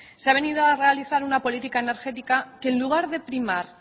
se ha venido a realizar una política energética que en lugar de primar